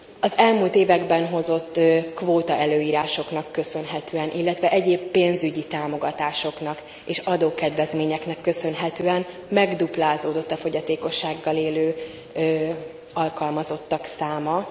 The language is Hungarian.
Az elmúlt években hozott kvótaelőírásoknak köszönhetően, illetve egyéb pénzügyi támogatásoknak és adókedvezményeknek köszönhetően megduplázódott a fogyatékossággal élő alkalmazottak száma.